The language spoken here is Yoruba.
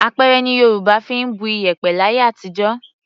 Apẹ̀rẹ̀ ni Yorùbá fi ń bu iyẹ̀pẹ̀ láyé àtijọ́.